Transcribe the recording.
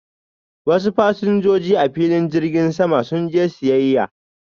wasu fasinjoji a filin jirgin sama sun je siyyaya.